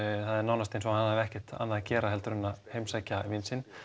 það er eins og hann hafi ekkert annað að gera heldur en að heimsækja vin sinn